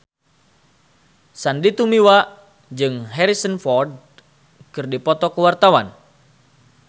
Sandy Tumiwa jeung Harrison Ford keur dipoto ku wartawan